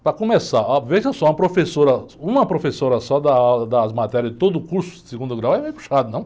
Para começar, óh, veja só, uma professora só dar aula, dar as matérias de todo o curso de segundo grau é meio puxado, não?